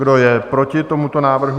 Kdo je proti tomuto návrhu?